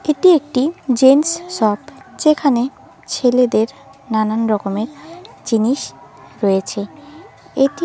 এটি একটি gents shop যেখানে ছেলেদের নানান রকমের জিনিস রয়েছে এটি--